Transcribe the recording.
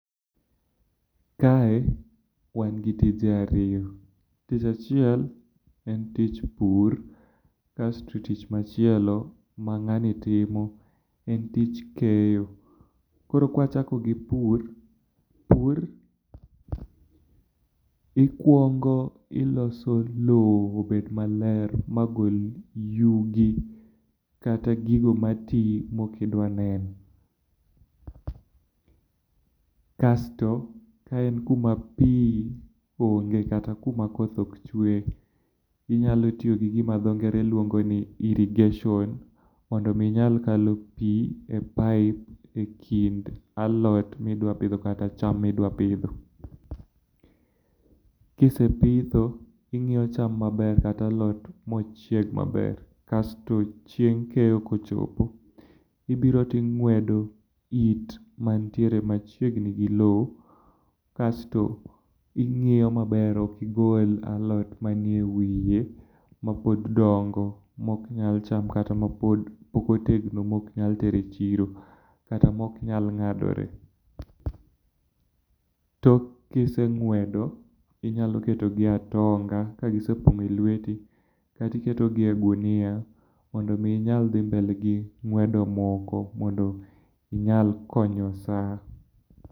Kae wan gi tije ariyo. Tich achiel en tich pur, kasto tich machielo ma ng'ani timo, en tich keyo. Koro ka wachako gi pur, pur ikuongo iloso lowo obed maler magol yugi kata gigo mati maok idwar neno. Kasto ka en kuma pi onge kata kuma koth ok chwe, inyalo tiyo gi gima dho ngere luongo ni irrigation. Mondo mi inyal kalo pi e paip ekind alot midwa pidho kata cham midwa pidho. Kise pitho, ing'iyo cham maber kata alot mochiek maber, kaeto chieng' keyo kochopo, ibiro to ing'uedo it mantiere machiegni gi lowo kasto ing'iyo maber ok igol alot anie wiye mapod dongo maok nyal cham kata mapok otegno maok nyal ter echiro, kata maok nyal ng'adore. Tok ka iseng'uedo, inyalo ketogi e atonga kagisepong'o lueti, kasto iketogi e ognia mondo mi idhi mbele gi ng'uedo moko mondo mi inyal konyo saa.